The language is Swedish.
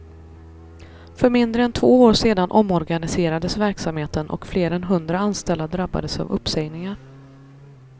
För mindre än två år sedan omorganiserades verksamheten och fler än hundra anställda drabbades av uppsägningar.